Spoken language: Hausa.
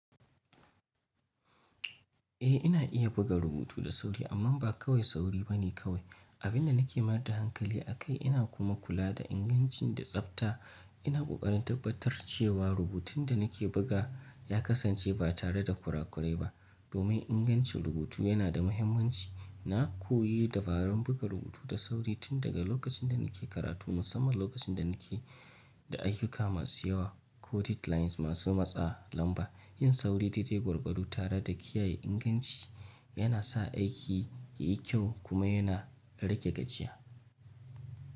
Eh ina iya buga rubutu da sauri. Abin da nake mayar da hankali akai ina kuma kula da inganci da tsafta. Ina ƙoƙarin tabbatar cewa rubutun da nake buga ya kasance ba tare da ƙuraƙurai ba domin ingancin rubutu yana da muhimmanci. Na koyi dabarun buga rubutu da sauri tun daga lokacin da nake karatu musamman lokacin da nake da ayyuka masu yawa ko deadlines masu matsa. Lamba yin sauri daidai gwargwaou tare da kiyaye inganci yana sa aiki yayi kyau kuma yana rage gajiya.